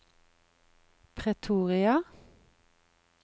Pretoria